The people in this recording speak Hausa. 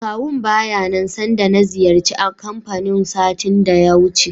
Akawun baya nan sanda na ziyarci kanfanin satin da ya wuce.